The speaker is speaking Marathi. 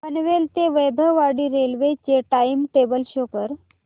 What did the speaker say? पनवेल ते वैभववाडी रेल्वे चे टाइम टेबल शो करा